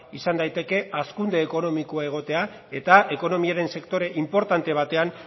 izan daiteke hazkunde ekonomikoa egotea eta ekonomiaren sektore inportante batean